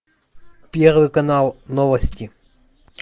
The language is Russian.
первый канал новости